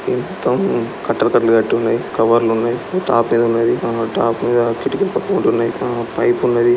ఈ మొత్తం కట్టలు కట్టలు కట్టున్నాయి కవర్లు ఉన్నాయి ఇట్టా ఉన్నది కిటికీలు పక్కపొంటున్నయ్ పైపున్నది.